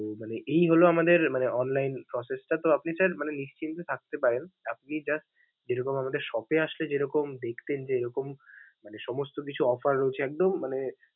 তো মানে এই হলো আমাদের মানে online process টা, তো আপনি sir মানে নিশ্চিন্তে থাকতে পারেন, আপনি just যেরকম আমাদের shop এ আসলে যেরকম দেখতেন যে এরকম সমস্ত কিছু offer রয়েছে, একদম মানে.